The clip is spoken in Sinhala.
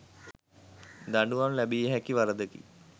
දඩුවම් ලැබියහැකි වරදකි.